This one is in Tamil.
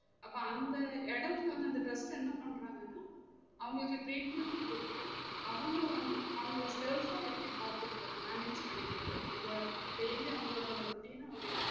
அப்ப அந்த இடைக்குள்ள அந்த trust என்ன பண்றாங்கன்னா அவங்களுக்கு treatment உம் குடுத்து அவங்க வந்து அவங்கள எப்டி பாத்துகுறது manage பண்ணிக்குறது அவங்க daily அவங்களோட routine அவங்க